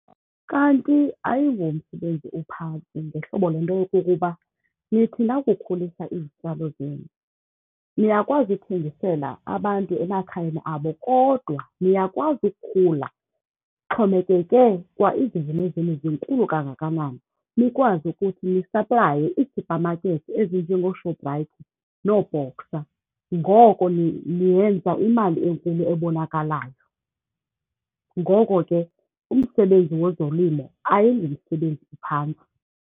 Kanti ayingomsebenzi uphantsi ngehlobo lento yokokuba nithi nakukhulisa izityalo zenu niyakwazi ukuthengisela abantu emakhayeni abo kodwa niyakwazi ukukhula, ixhomekeke kwa izivuno zenu zinkulu kangakanani, nikwazi ukuthi nisaplaye ii-supermarket ezinjengooShoprite nooBoxer. Ngoko niyenza imali enkulu ebonakalayo. Ngoko ke umsebenzi wezolimo ayingomsebenzi uphantsi.